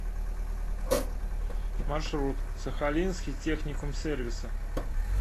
маршрут сахалинский техникум сервиса